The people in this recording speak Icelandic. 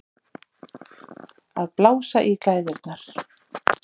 Að blása í glæðurnar